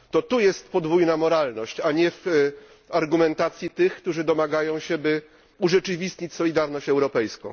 To tu jest podwójna moralność, a nie w argumentacji tych, którzy domagają się, by urzeczywistnić solidarność europejską.